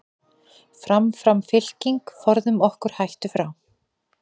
Fram, fram fylking, forðum okkur hættu frá.